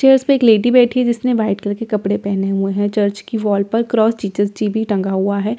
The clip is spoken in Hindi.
चेयर्स पर एक लेडी बैठी है जिसने व्हाइट कलर के कपड़े पहने हुए हैं चर्च की वॉल पर क्रॉस जीसस जी भी टंगा हुआ है चर्च --